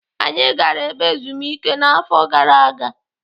Anyị gara ebe ezumike n'afọ gara aga.